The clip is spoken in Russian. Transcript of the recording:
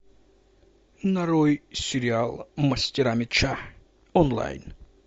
нарой сериал мастера меча онлайн